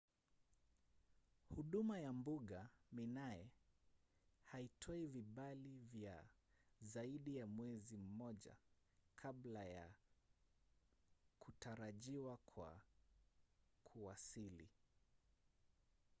huduma ya mbuga minae haitoi vibali vya zaidi ya mwezi mmoja kabla ya kutarajiwa kwa kuwasili